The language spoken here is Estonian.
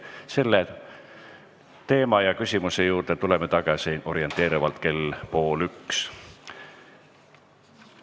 Selle teema ja küsimuse juurde tuleme tagasi orienteerivalt kell 12.30.